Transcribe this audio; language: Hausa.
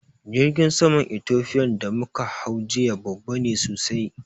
Jirgin saman Ethofian da muka hau jiya babba ne sosai